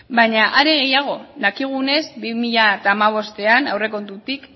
baina are gehiago dakigunez bi mila hamabostean aurrekontutik